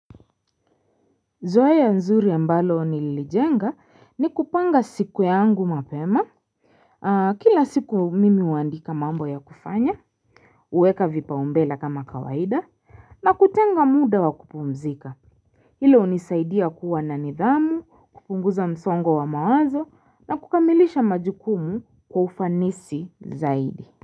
Zoeya nzuri ambalo nililijenga ni kupanga siku yangu mapema Kila siku mimi uandika mambo ya kufanya uweka vipaumbela kama kawaida na kutenga muda wa kupumzika Hilo unisaidia kuwa na nidhamu kupunguza msongo wa mawazo na kukamilisha majukumu kwa ufanisi zaidi.